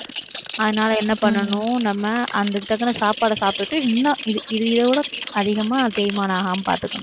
அதனால என்ன பண்ணணும் நம்ம அதுக்கு தகுந்த சாப்பாடை சாப்பிட்டுட்டு, இன்னும் இது இது இதைவிட அதிகமா தேய்மானம் ஆகாமல் பார்த்துக்கணும்